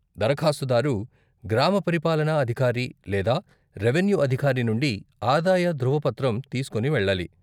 దరఖాస్తుదారు గ్రామ పరిపాలనా అధికారి లేదా రెవెన్యూ అధికారి నుండి ఆదాయ ధృవపత్రం తీస్కోని వెళ్ళాలి.